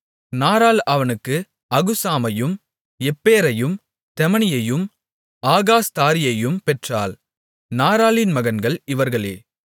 நாராள் அவனுக்கு அகுசாமையும் எப்பேரையும் தெமனியையும் ஆகாஸ்தாரியையும் பெற்றாள் நாராளின் மகன்கள் இவர்களே